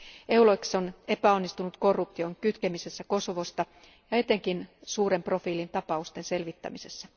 EULEX on epäonnistunut korruption kitkemisessä Kosovosta ja etenkin suuren profiilin tapausten selvittämisessä.